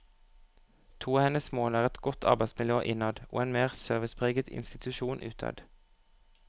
To av hennes mål er et godt arbeidsmiljø innad og en mer servicepreget institusjon utad.